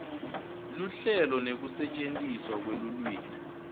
luhlelo nekusetjentiswa kwelulwimi